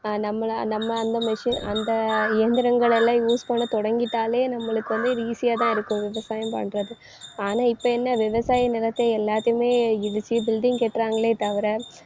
அஹ் நம்மளை நம்ம அந்த machine அந்த இயந்திரங்களெல்லாம் use பண்ண தொடங்கிட்டாலே நம்மளுக்கு வந்து இது easy யாதான் இருக்கும் விவசாயம் பண்றது. ஆனா இப்ப என்ன விவசாய நிலத்தை எல்லாத்தையுமே இடிச்சு building கட்டுறாங்களே தவிர